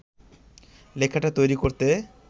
লেখাটা তৈরি করতে